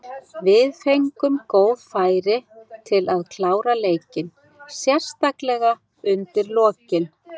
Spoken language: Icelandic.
Við fengum góð færi til að klára leikinn, sérstaklega undir lokin.